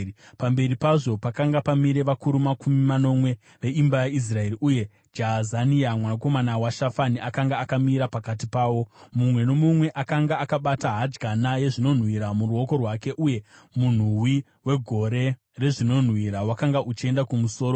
Pamberi pazvo pakanga pamire vakuru makumi manomwe veimba yaIsraeri, uye Jaazania mwanakomana waShafani akanga akamira pakati pavo. Mumwe nomumwe akanga akabata hadyana yezvinonhuhwira muruoko rwake, uye munhuwi wegore rezvinonhuhwira wakanga uchienda kumusoro.